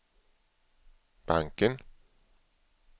banken